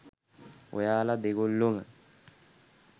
ඔයාල දෙගොල්ලොම